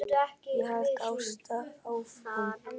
Svo heldur Ásta áfram